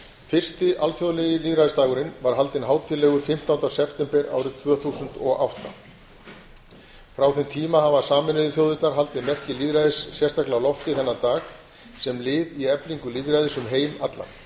fyrsti alþjóðlegi lýðræðisdagurinn var haldinn hátíðlegur fimmtánda september árið tvö þúsund og átta frá þeim tíma hafa sameinuðu þjóðirnar haldið merki lýðræðis sérstaklega á lofti þennan dag sem lið í eflingu lýðræðis um heim allan í